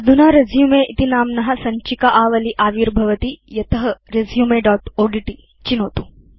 अधुना रेसुमे इति नाम्न सञ्चिका आवली आविर्भवति यत रेसुमे दोत् ओड्ट् चिनोतु